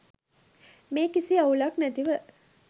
මේ කිසි අවුලක් නැතිව